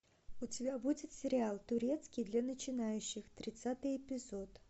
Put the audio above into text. у тебя будет сериал турецкий для начинающих тридцатый эпизод